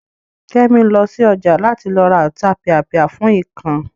Kẹ́mi lọ sí ọjà láti lọ ra Ọ̀tapìàpìà fún ikán